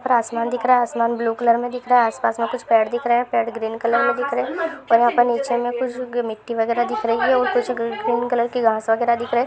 ऊपर आसमान दिख रहा है आसमान ब्लू कलर मे दिख रहा है आसपास मे पेड़ दिख रहे है पेड़ ग्रीन कलर मे दिख रहे है फिर वहा पर नीचे मे कुछ ग मिट्टी वगेरह दिख रही है अ उ ग्रीन कलर की घास वगेरह दिख रही है।